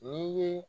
N'i ye